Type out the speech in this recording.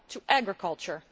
To agriculture!